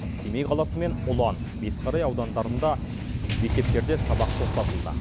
семей қаласы мен ұлан бесқарай аудандарында мектептерде сабақ тоқтатылды